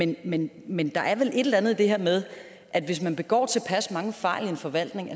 det men men der er vel et eller andet i det her med at hvis man begår tilpas mange fejl i en forvaltning